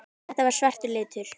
Þetta var svartur litur.